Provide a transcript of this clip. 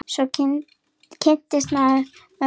Svo kynnist maður mörgu fólki.